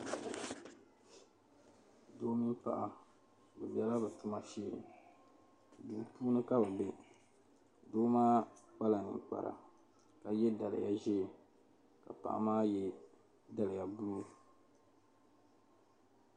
Doo mini paɣa be bela bɛ tuma shee duu puuni ka bɛ be doo maa kpala ninkpara ka ye daliya ʒee ka paɣa maa ye daliya buluu.